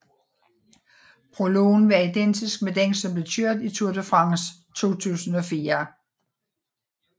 Prologen var identisk med den som blev kørt i Tour de France 2004